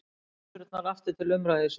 Bænaturnar aftur til umræðu í Sviss